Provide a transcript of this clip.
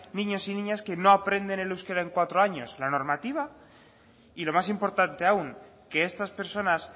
niños y niñas que no aprenden el euskera en cuatro años la normativa y lo más importante aún que estas personas